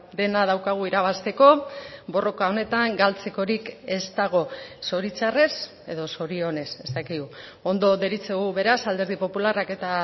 dena daukagu irabazteko borroka honetan galtzekorik ez dago zoritzarrez edo zorionez ez dakigu ondo deritzogu beraz alderdi popularrak eta